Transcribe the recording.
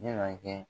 Na kɛ